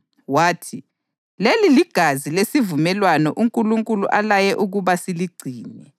Wathi, “Leli ligazi lesivumelwano uNkulunkulu alaye ukuba lisigcine.” + 9.20 U-Eksodasi 24.8